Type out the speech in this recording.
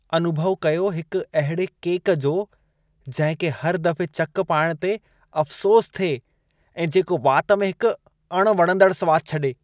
अनुभउ कयो हिकु अहिड़े केक जो, जंहिं खे हर दफ़े चकु पाइण ते अफ़सोस थिए, ऐं जेको वात में हिक अणवणंदड़ सवाद छॾे।